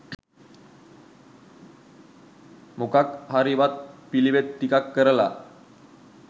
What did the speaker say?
මොකක් හරි වත් පිළිවෙත් ටිකක් කරලා